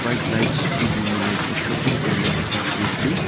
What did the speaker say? white lights illuminate a shopping area effectively.